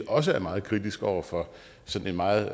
også er meget kritisk over for sådan en meget